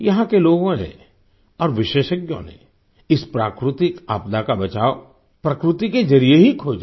यहाँ के लोगों ने और विशेषज्ञों ने इस प्राकृतिक आपदा का बचाव प्रकृति के जरिये ही खोजा